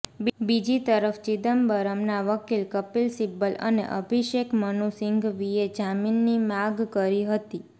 બીજી તરફ ચિદમ્બરમના વકીલ કપિલ સિબ્બલ અને અભિષેક મનુ સિંઘવીએ જામીનની માગ કરી હતી